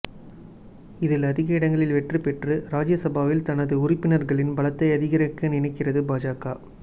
இதில் அதிக இடங்களில் வெற்றி பெற்று ராஜ்யசபாவில் தனது உறுப்பினர்களின் பலத்தை அதிகரிக்க நினைக்கிறது பாஜக